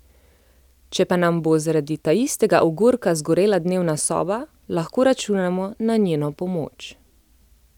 Če pa nam bo zaradi taistega ogorka zgorela dnevna soba, lahko računamo na njeno pomoč.